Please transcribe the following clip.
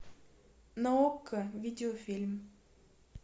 на окко видеофильм